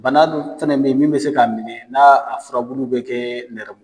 Bana dun fana bɛ ye min bɛ se k'a minɛ na a furabulu bɛ kɛ nɛrɛ